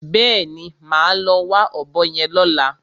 Bẹ́ẹ̀ni, màá lọ wá ọ̀bọ yẹn lọ́la.